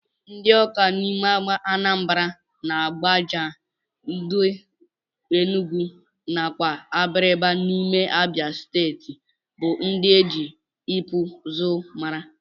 Ndi ọka n'ime anambra, agbaja udi enugu nakwa abriba n'ime abia stetii bu ndi eji ikpụ ụzụ mara.